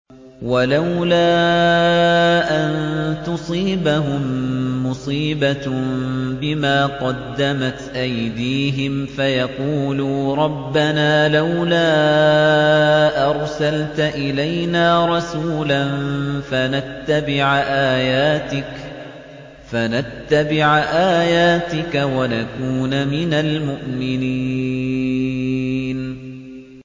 وَلَوْلَا أَن تُصِيبَهُم مُّصِيبَةٌ بِمَا قَدَّمَتْ أَيْدِيهِمْ فَيَقُولُوا رَبَّنَا لَوْلَا أَرْسَلْتَ إِلَيْنَا رَسُولًا فَنَتَّبِعَ آيَاتِكَ وَنَكُونَ مِنَ الْمُؤْمِنِينَ